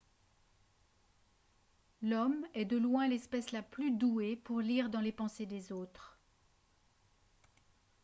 l'homme est de loin l'espèce la plus douée pour lire dans les pensées des autres